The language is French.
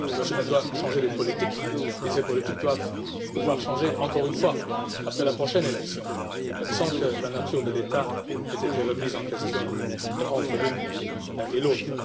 Elle doit changer les politiques, politiques qui doivent pouvoir changer encore une fois après la prochaine élection, sans que la nature de l'État ne soit remise en question entre l'une et l'autre.